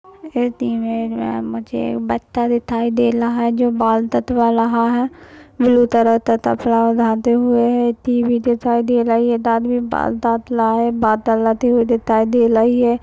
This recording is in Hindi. में मुझे एक बच्चा दिखाई दे रहा जो बाल कटवा रहा टी.व्ही. दिखाई दे रही एक आदमी बाल काट रहा लगी हुई दिखाई दे रही है।